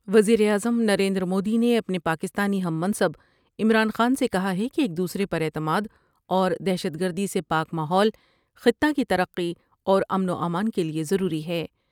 وز یر اعظم نریندر مودی نے اپنے پاکستانی ہم منصب عمران خان سے کہا ہے کہ ایک دوسرے پر اعتما داور دہشت گردی سے پاک ماحول خطہ کی ترقی اور امن وامان کے لئے ضروری ہے ۔